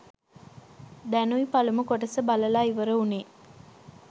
දැනුයි පළමු කොටස බලලා ඉවර වුනේ.